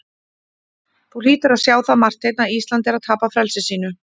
Þú hlýtur að sjá það, Marteinn, að Ísland er að tapa frelsi sínu.